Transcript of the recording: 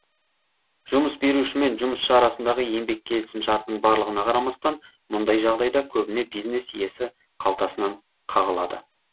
жұмыс беруші мен жұмысшы арасындағы еңбек келісім шартының барлығына қарамастан мұндай жағдайда көбіне бизнес иесі қалтасынан қағылады